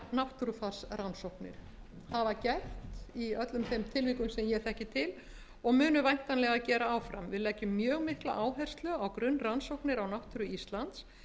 náttúrufarsrannsóknir hafa gert í öllum þeim tilvikum sem ég þekki til og munu væntanlega gera áfram við leggjum mjög mikla áherslu á grunnrannsóknir á náttúru íslands